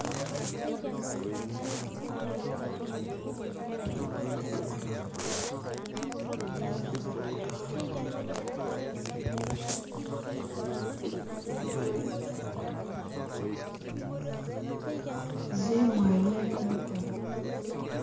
Zimwanyi ku mukono